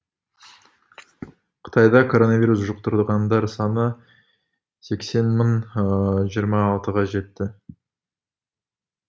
қытайда коронавирус жұқтырғандар саны сексен мың жиырма алтыға жетті